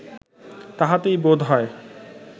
তাহাতেই বোধ হয়